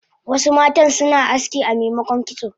Wasu matan suna aski amemokon kitso